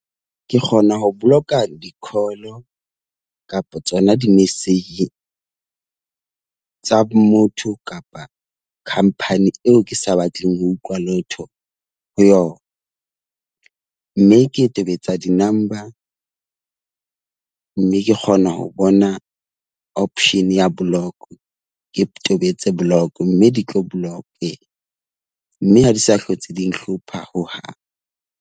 Ke kgona ho boloka di-call kapa tsona di-message tsa motho kapa khampani eo ke sa batleng ho utlwa letho ho yona. Mme ke tobetsa di-number. Mme ke kgona ho bona option ya block. Ke tobetse block, mme di tlo block . Mme ha di sa hlotse di nhlopha hohang.